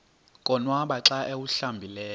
konwaba xa awuhlambileyo